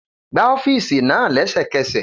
Gba ọ́fíìsì náà lẹ́sẹ̀kẹsẹ̀